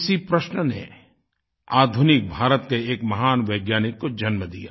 इसी प्रश्न ने आधुनिक भारत के एक महान वैज्ञानिक को जन्म दिया